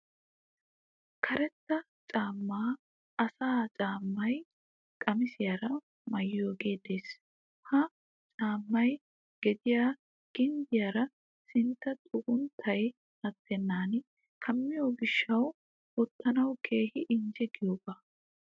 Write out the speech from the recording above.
Karetta macca asaa caammay qamisiyaara mayyiyogee des. Ha caammay gediyaa ginddiyaara sintta xugunttay attennan kammiya gishshawu wottanawu keehi injje giyogaa.